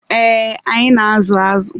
Ee, anyị na-azụ azụ.